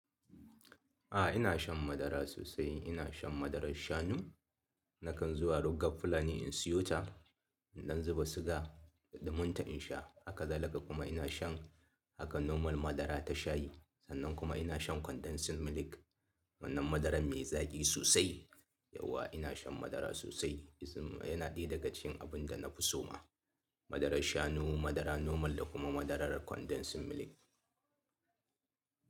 A ina shan madara sosai. Ina shan madarar shanu. Nakan zuwa rugar Fulani in siyo ta. Dan zuba sugar don mutum ya sha. Haka da kuma ina shan haka normal madara da shayi. Sannan kuma ina shan condensed milk wannan madara mai zaƙi sosai. Yauwa ina shan madara sosai. Hmm yana daya daga cikin abun da na fi so ma. Madarar shanu, madara normal da kuma madarar condensed milk.